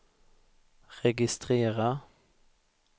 registrera